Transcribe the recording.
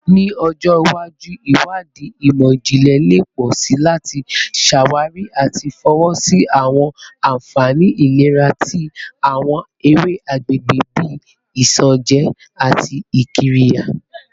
Ni ọjọ iwaju, iwadii imọ-jinlẹ le pọ si lati ṣawari ati fọwọsi awọn anfani ilera ti awọn ewe agbegbe bii isanje ati qirya